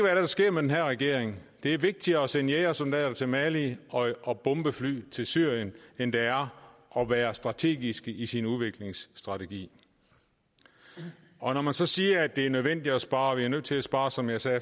er der sker med den her regering det er vigtigere at sende jægersoldater til mali og bombefly til syrien end det er at være strategisk i sin udviklingsstrategi og når man så siger at det er nødvendigt at spare vi er nødt til at spare som jeg sagde